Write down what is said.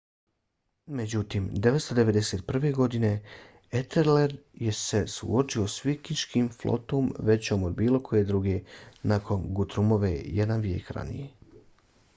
međutim 991. godine etelred se suočio s vikinškom flotom većom od bilo koje druge nakon gutrumove jedan vijek ranije